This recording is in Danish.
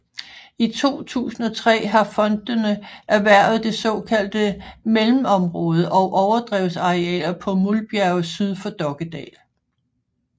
I 2003 har fondene erhvervet det såkaldte Mellemområde og overdrevsarealer på Mulbjerge syd for Dokkedal